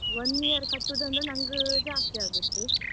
One year ಕಟ್ಟುದಂದ್ರೆ ನಂಗ್ ಜಾಸ್ತಿ ಆಗುತ್ತ್.